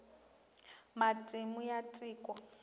matimu ya tiko